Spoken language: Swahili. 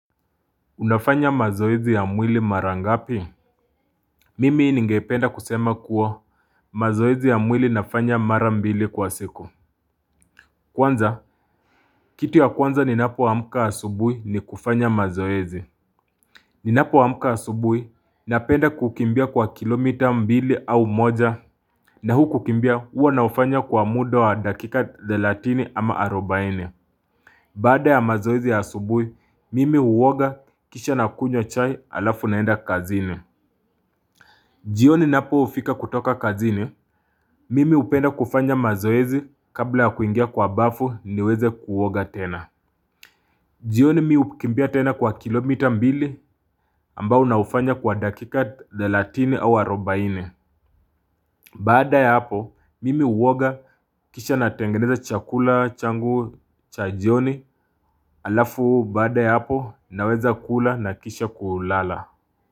Unafanya mazoezi ya mwili mara ngapi? Mimi ninge penda kusema kuwa mazoezi ya mwili nafanya mara mbili kwa siku. Kwanza, kitu ya kwanza ninapo amka asubuhi ni kufanya mazoezi. Ninapo amka asubuhi, napenda kukimbia kwa kilomita mbili au moja na huku kimbia huwa naufanya kwa muda wa dakika thelatini ama arobaine. Baada ya mazoezi ya asubuhi, mimi huoga kisha nakunywa chai alafu naenda kazini. Jioni napofika kutoka kazini, mimi hupenda kufanya mazoezi kabla ya kuingia kwa bafu niweze kuoga tena jioni mimi hukimbia tena kwa kilomita mbili ambao naufanya kwa dakika 30 au 40 Baada ya hapo, mimi huoga kisha natengeneza chakula changu cha jioni halafu baada ya hapo naweza kula na kisha kulala.